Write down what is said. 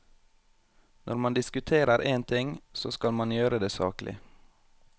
Når man diskuterer en ting, så skal man gjøre det saklig.